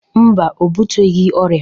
Mba, o buteghi ọrịa.